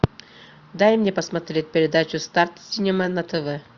дай мне посмотреть передачу старт синема на тв